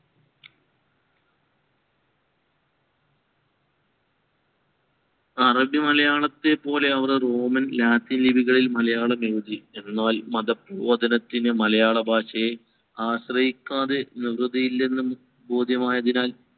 അറബി മലയാളത്തെപ്പോലെ അവര്‍ റോമൻ, ലാറ്റിൻ ലിപികളിൽ മലയാളം എഴുതി. എന്നാൽ മത പ്രബോധനത്തിന് മലയാളത്തെ ആശ്രയിക്കാതെ നിവതി ഇല്ലെന്ന് ബോധ്യമായതിനാൽ